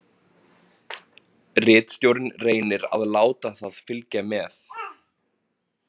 Ritstjórinn reynir að láta það fylgja með.